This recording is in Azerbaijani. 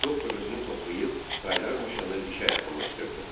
Doktor özünü toplayıb, qaynar maşını dişə yaxınlaşdırdı.